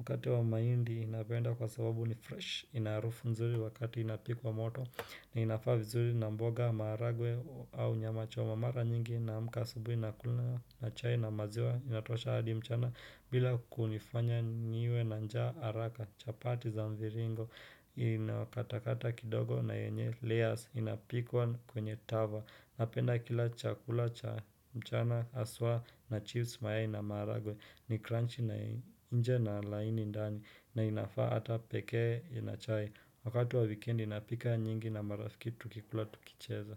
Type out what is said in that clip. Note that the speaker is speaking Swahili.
Mkate wa mahindi napenda kwa sababu ni fresh, inaharufu nzuri wakati inapikwa moto, na inafaa vizuri na mboga, maharagwe au nyama choma mara nyingi naamka asubui nakula na chai na maziwa, inatosha hadi mchana bila kunifanya niwe na njaa haraka. Chapati za mviringo inakata kata kidogo na yenye layers inapikwa kwenye tava Napenda kila chakula cha mchana haswa na chips mayai na maharagwe ni crunchy na nje na laini ndani na inafaa ata pekee na chai Wakati wa wikedi napika nyingi na marafiki tukikula tukicheza.